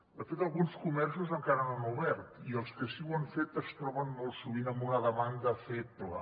de fet alguns comerços encara no han obert i els que sí que ho han fet es troben molt sovint amb una demanda feble